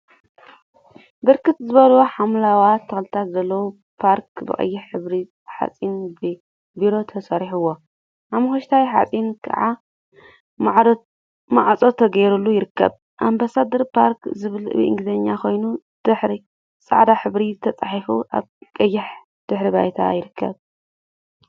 ብርክት ዝበሉ ሓምለዎት ተክልታት ዘለዎ ፓርክ ብቀይሕ ሕብሪ ሓጺን በሪ ተሰሪሑዎ ሓመኩሽታይ ሓጺን ከዓ ማዕጾ ተገይሩሉ ይርከብ። ኣምባሳደር ፓርክ ዝብል ብእንግሊዘኛ ኮይኑ ጻዕዳ ሕብሪ ተጻሒፉ ኣብ ቀይሕ ድሕረ ባይታ ይርከብ።